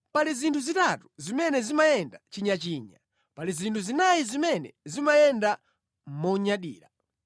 “Pali zinthu zitatu zimene zimayenda chinyachinya, pali zinthu zinayi zimene zimayenda monyadira: